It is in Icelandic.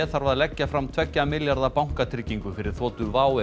þarf að leggja fram tveggja milljarða bankatryggingu fyrir þotu WOW